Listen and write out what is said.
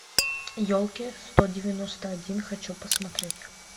елки сто девяносто один хочу посмотреть